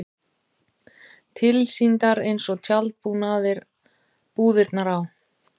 Tilsýndar eins og tjaldbúðirnar á